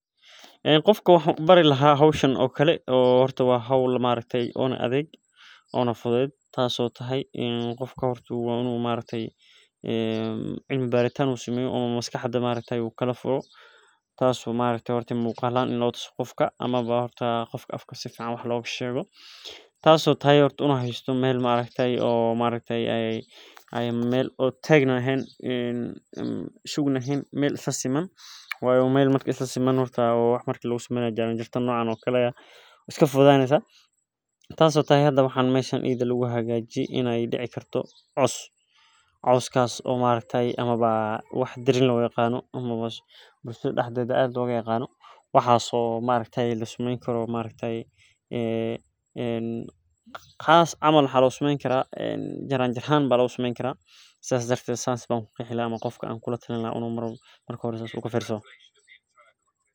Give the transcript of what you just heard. Ee qofka waxan u bari laha qofka howhan oo kale waa hol adhag oo muqal ahan latuso tas oo meel sugan hadaeshan waxaa kag havajiye in u cos lagu gayo maxaa lo sameyni karaa jaran jaro si ee dahow wax ogu taro bulshaada sas ayan u arki haya muqal ahan qodka latuso waxas oo kaaragte sas ayan arki haya.